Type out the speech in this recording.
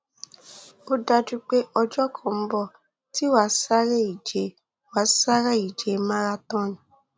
ó dájú pé ọjọ kan ń bọ tí wàá sáré ìje wàá sáré ìje marathon